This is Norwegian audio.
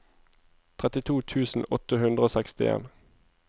trettito tusen åtte hundre og sekstien